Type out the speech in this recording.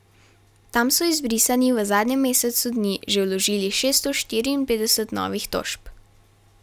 Tam so izbrisani v zadnjem mesecu dni že vložili šeststo štiriinpetdeset novih tožb.